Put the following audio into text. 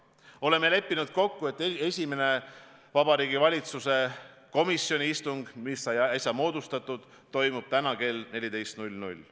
Oleme leppinud kokku, et esimene Vabariigi Valitsuse komisjoni istung toimub täna kell 14.00.